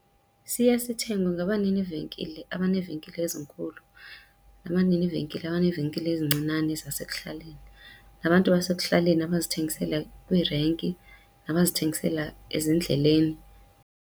Siye sithengwe ngabanini venkile abaneevenkile ezinkulu, nabanini venkile abaneevenkile ezincinane zasekuhlaleni, nabantu basekuhlaleni abazithengisela kwiirenki nabazithengisela ezindleleni.